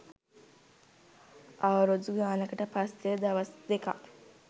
අවුරුදු ගානකට පස්සේ දවසක් දෙකක්